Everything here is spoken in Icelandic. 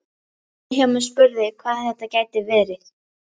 Vilhjálmur spurði hvað þetta gæti verið.